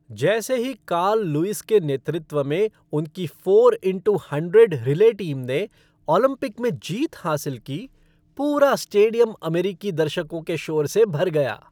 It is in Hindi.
जैसे ही कार्ल लुईस के नेतृत्व में उनकी four into hundred relay team ने ओलंपिक में जीत हासिल की, पूरा स्टेडियम अमेरिकी दर्शकों के शोर से भर गया।